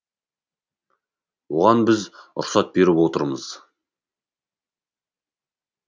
оған біз рұқсат беріп отырмыз